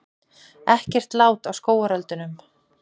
Ekkert lát á skógareldunum